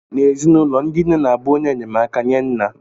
N'ezinụlọ, ndị nne na-abụ onye enyemaka nye nna